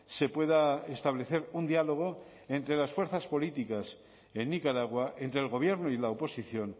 se pueda establecer un diálogo entre las fuerzas políticas en nicaragua entre el gobierno y la oposición